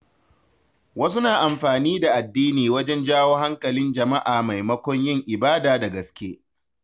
Wasu na amfani da addini wajen jawo hankalin jama’a maimakon yin ibada da gaske.